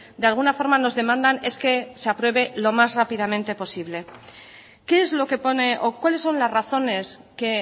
de alguna forma nos demandan es que se apruebe lo más rápidamente posible qué es lo que pone o cuáles son las razones que